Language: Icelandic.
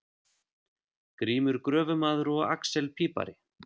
Grímur gröfumaður og axel pípari.